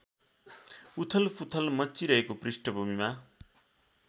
उथलपुथल मच्चिरहेको पृष्ठभूमिमा